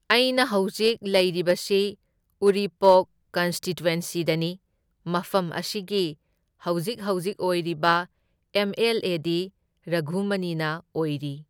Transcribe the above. ꯑꯩꯅ ꯍꯧꯖꯤꯛ ꯂꯩꯔꯤꯕꯁꯤꯅ ꯎꯔꯤꯄꯣꯛ ꯀꯟꯁꯇꯤꯇ꯭ꯋꯦꯟꯁꯤꯗꯅꯤ, ꯃꯐꯝ ꯑꯁꯤꯒꯤ ꯍꯧꯖꯤꯛ ꯍꯧꯖꯤꯛ ꯑꯣꯏꯕꯤꯔꯤꯕ ꯑꯦꯝ ꯑꯦꯜ ꯑꯦ ꯗꯤ ꯔꯘꯨꯃꯅꯤꯅ ꯑꯣꯏꯔꯤ꯫